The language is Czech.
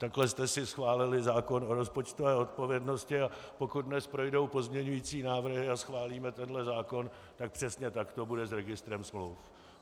Takhle jste si schválili zákon o rozpočtové odpovědnosti, a pokud dnes projdou pozměňující návrhy a schválíme tenhle zákon, tak přesně tak to bude s registrem smluv.